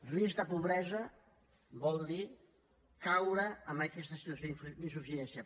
risc de pobresa vol dir caure en aquesta situació d’insuficiència